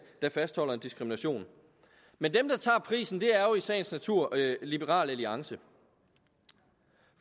der fastholder en diskrimination men dem der tager prisen er jo i sagens natur liberal alliance